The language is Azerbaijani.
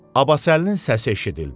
Abbasəlinin səsi eşidildi.